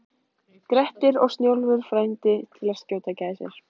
Grettir og Snjólfur frændi til að skjóta gæsir.